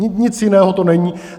Nic jiného to není.